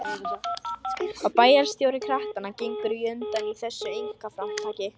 Og bæjarstjóri kratanna gengur á undan í þessu einkaframtaki.